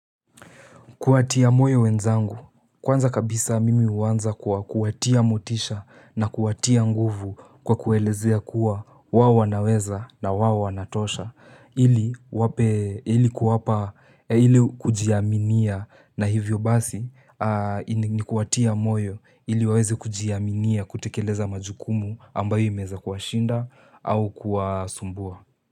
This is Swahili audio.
Kuwatia moyo wenzangu, kwanza kabisa mimi uwanza kwa kuwatia motisha na kuatia nguvu kwa kuelezea kuwa wawanaweza na wawana tosha. Ili kuwapa, ili kujiaminia na hivyo basi ni kuwatia moyo ili waweze kujiaminia kutekeleza majukumu ambayo imeza kuashinda au kuwasumbua.